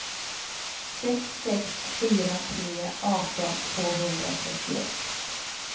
sex sex fyra tre arton tvåhundratrettioett